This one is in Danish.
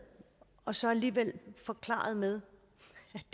og så alligevel forklaret med